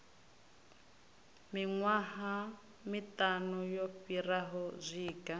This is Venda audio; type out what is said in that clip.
miṅwaha miṱanu yo fhiraho zwinga